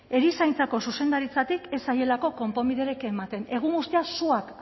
erizaintzako zuzendaritzatik ez zaielako konponbiderik ematen egun guztia suak